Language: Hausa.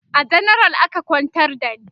a janaral aka kwantar da ni